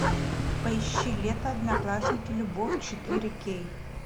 поищи лето одноклассники любовь четыре кей